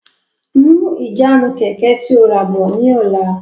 Mú ìjánu Kẹ̀kẹ́ tí ó ràbọ̀ ni ọ̀la!